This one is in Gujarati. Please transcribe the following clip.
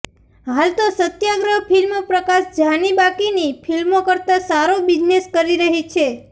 હાલ તો સત્યાગ્રહ ફિલ્મ પ્રકાશ ઝાની બાકીની ફિલ્મો કરતાં સારો બિઝનેસ કરી રહી છે